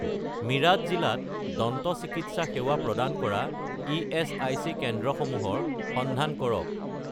মিৰাট জিলাত দন্ত চিকিৎসা সেৱা প্ৰদান কৰা ইএচআইচি কেন্দ্ৰসমূহৰ সন্ধান কৰক